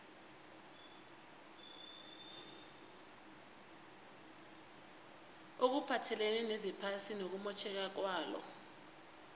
okuphathelene nezephasi nokumotjheka kwalo